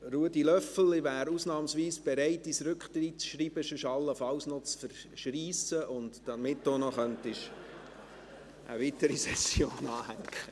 Ruedi Löffel, ich wäre ausnahmsweise bereit, dein Rücktrittsschreiben allenfalls zu zerreissen, damit du eine weitere Session anhängen könntest.